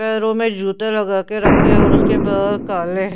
पैरों में जूते लगा के रखे और उसके बल काले है.